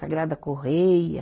Sagrada Correia,